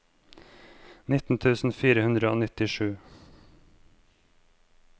nittien tusen fire hundre og nittisju